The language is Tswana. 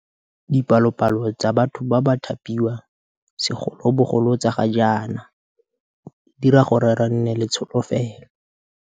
Dipalopalo tsa batho ba ba thapiwang, segolobogolo tsa ga jaana, di dira gore re nne le tsholofelo.